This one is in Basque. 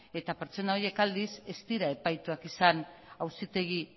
eta pertsona horiek aldiz ez dira epaituak izan auzitegi